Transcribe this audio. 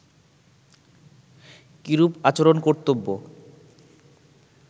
কিরূপ আচরণ কর্তব্য